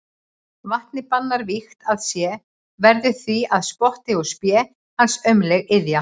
Vatnið bannar vígt að sé, verður því að spotti og spé hans aumleg iðja.